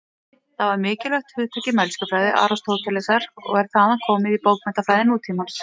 Það var mikilvægt hugtak í mælskufræði Aristótelesar og er þaðan komið í bókmenntafræði nútímans.